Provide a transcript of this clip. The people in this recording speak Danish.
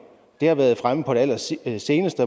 det har været fremme på det allerseneste